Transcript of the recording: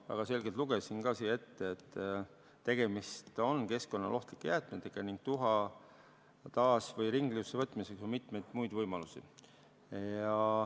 Ma väga selgelt lugesin ka ette, et tegemist on keskkonnale ohtlike jäätmetega ning tuha taas- või ringkasutusse võtmiseks on mitmeid muid võimalusi.